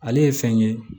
Ale ye fɛn ye